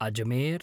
Ajmer